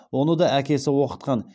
оны да әкесі оқытқан